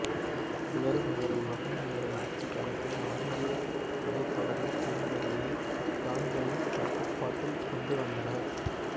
இவரும் இவரது மகனும் இவரது ஆட்சிக்காலத்தில் ஆண்டீய மலைத்தொடரின் பெரும்பகுதியை இன்காக்களின் கட்டுப்பாட்டில் கொண்டு வந்தனர்